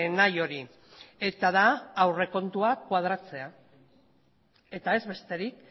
nahi hori eta da aurrekontuak koadratzea eta ez besterik